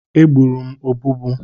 Egburu m ọbụbụụ.